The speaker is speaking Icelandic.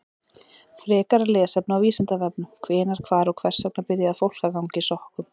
Frekara lesefni á Vísindavefnum: Hvenær, hvar og hvers vegna byrjaði fólk að ganga í sokkum?